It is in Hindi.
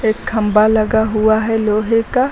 एक खंभा लगा हुआ है लोहे का--